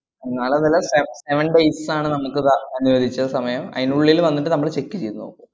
നാളാന്ന് അല്ല se~ seven days ആണ് നമ്മക്ക് ത~ അനുവദിച്ച സമയം അയിനുള്ളിൽ വന്നിട്ട് നമ്മള് check ചെയ്തുനോക്കും.